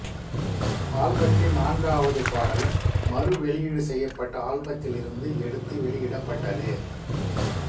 ஆல்பத்தின் நான்காவது பாடலும் மறுவெளியீடு செய்யப்பட்ட ஆல்பத்திலிருந்து எடுத்து வெளியிடப்பட்டது